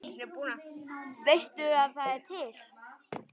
Veistu að það er til?